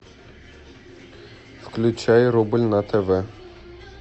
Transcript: включай рубль на тв